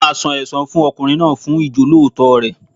A máa san ẹsan fún ọkùnrin náà fún Ìjọ́lóòótọ́ rẹ̀.